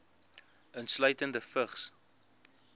insluitende vigs